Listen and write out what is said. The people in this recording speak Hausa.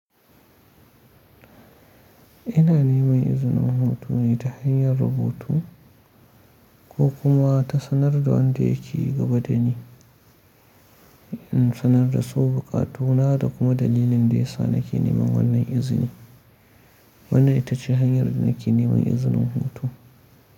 Ina neman izinin hoto ne ta hanyar rubutu ko kuma ta sanar da wanda yake gaba da ni, in sanar da su buƙatu na da kuma dalilin da ya sa nake neman wannan izini. Wannan ita ce hanyar da nake neman izinin hoto.